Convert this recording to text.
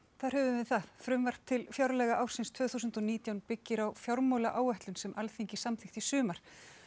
þar höfum við það frumvarp til fjárlaga ársins tvö þúsund og nítján byggir á fjármálaáætlun sem Alþingi samþykkti í sumar